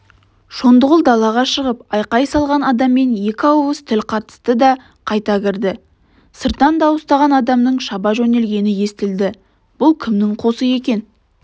шондығұл далаға шығып айқай салған адаммен екі ауыз тіл қатысты да қайта кірді сырттан дауыстаған адамның шаба жөнелгені естілді бұл кімнің қосы екен